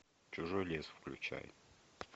чужой лес включай